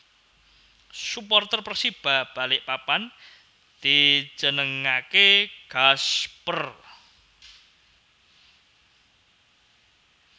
Suporter Persiba Balikpapan dijenengake Gasper